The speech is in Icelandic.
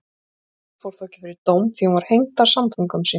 Málið fór þó ekki fyrir dóm því hún var hengd af samföngum sínum.